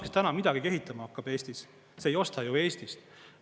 Kes täna midagigi ehitama hakkab Eestis, see ei osta ju Eestist.